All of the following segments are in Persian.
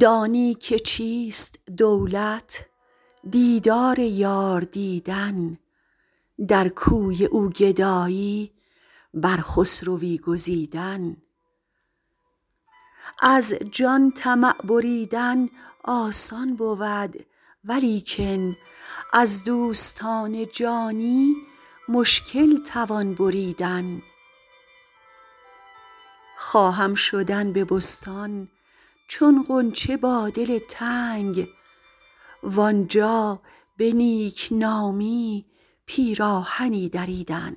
دانی که چیست دولت دیدار یار دیدن در کوی او گدایی بر خسروی گزیدن از جان طمع بریدن آسان بود ولیکن از دوستان جانی مشکل توان بریدن خواهم شدن به بستان چون غنچه با دل تنگ وآنجا به نیک نامی پیراهنی دریدن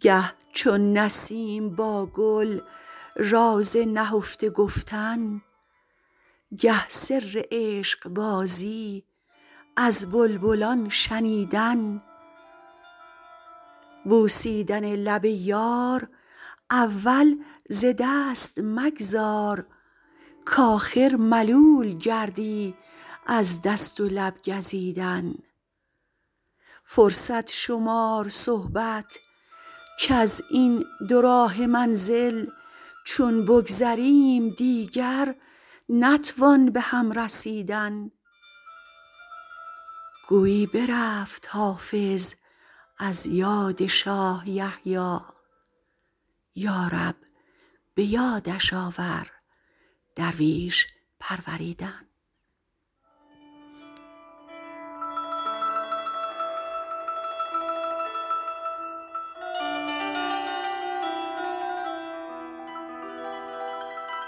گه چون نسیم با گل راز نهفته گفتن گه سر عشق بازی از بلبلان شنیدن بوسیدن لب یار اول ز دست مگذار کآخر ملول گردی از دست و لب گزیدن فرصت شمار صحبت کز این دوراهه منزل چون بگذریم دیگر نتوان به هم رسیدن گویی برفت حافظ از یاد شاه یحیی یا رب به یادش آور درویش پروریدن